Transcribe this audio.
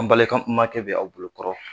An balimakɛ bɛ aw bolokɔrɔ